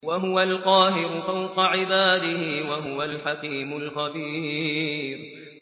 وَهُوَ الْقَاهِرُ فَوْقَ عِبَادِهِ ۚ وَهُوَ الْحَكِيمُ الْخَبِيرُ